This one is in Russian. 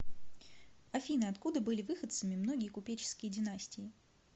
афина откуда были выходцами многие купеческие династии